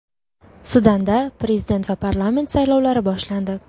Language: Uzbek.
Sudanda prezident va parlament saylovlari boshlandi.